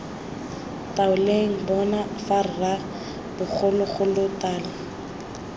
ntaoleng bona fa rra bogologolotala